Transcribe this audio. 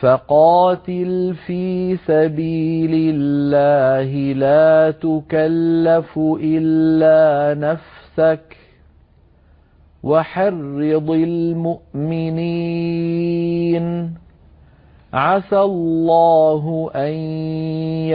فَقَاتِلْ فِي سَبِيلِ اللَّهِ لَا تُكَلَّفُ إِلَّا نَفْسَكَ ۚ وَحَرِّضِ الْمُؤْمِنِينَ ۖ عَسَى اللَّهُ أَن